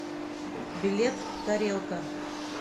билет тарелка